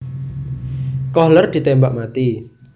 Kohler ditembak mati